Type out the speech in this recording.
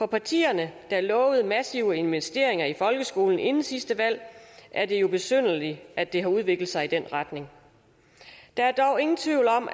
partierne der lovede massive investeringer i folkeskolen inden sidste valg er det jo besynderligt at det har udviklet sig i den retning der er dog ingen tvivl om